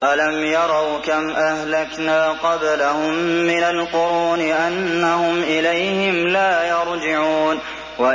أَلَمْ يَرَوْا كَمْ أَهْلَكْنَا قَبْلَهُم مِّنَ الْقُرُونِ أَنَّهُمْ إِلَيْهِمْ لَا يَرْجِعُونَ